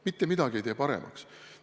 Mitte midagi ei tee paremaks!